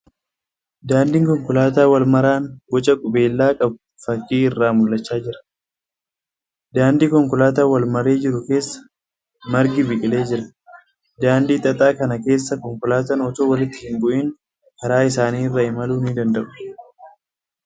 Daandiin konkolaataa wal maraan boca qubeellaa qabu fakkii irraa mul'achaa jira. Daandii konkolaataa wal maree jiru keessa margi biqilee jire. Daandii xaxaa kana keessa konkolaataan otoo walitti hin bu'in karaa isaanii irra imaluu ni danda'u.